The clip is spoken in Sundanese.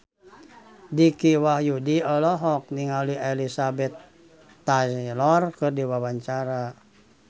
Dicky Wahyudi olohok ningali Elizabeth Taylor keur diwawancara